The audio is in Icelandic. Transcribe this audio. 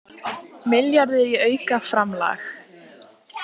Milljarður í aukaframlag